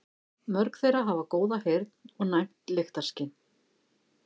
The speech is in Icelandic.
Mörg þeirra hafa góða heyrn og næmt lyktarskyn.